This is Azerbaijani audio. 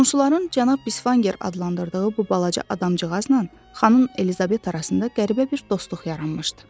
Qonşuların cənab Bisvanger adlandırdığı bu balaca adamcığazla xanım Elizabet arasında qəribə bir dostluq yaranmışdı.